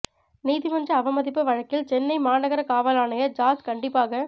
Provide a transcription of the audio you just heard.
நீதிமன்ற அவமதிப்பு வழக்கில் சென்னை மாநகர காவல் ஆணையர் ஜார்ஜ் கண்டிப்பாக